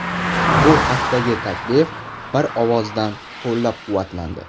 Bu haqdagi taklif bir ovozdan qo‘llab-quvvatlandi.